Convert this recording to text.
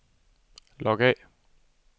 log af